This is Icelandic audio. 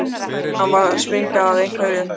Hann var að springa af einhverju.